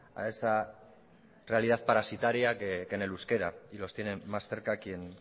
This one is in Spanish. a realidad parasitaria que en el euskera y los tienen más cerca quien